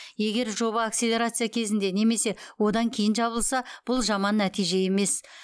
егер жоба акселерация кезінде немесе одан кейін жабылса бұл жаман нәтиже емес